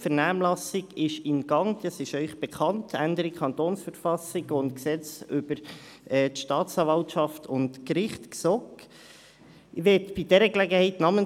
Wie Ihnen bekannt ist, ist die Vernehmlassung über die Änderung der Verfassung des Kantons Bern (KV) und des Gesetzes über die Organisation der Gerichtsbehörden und der Staatsanwaltschaft (GSOG) im Gang.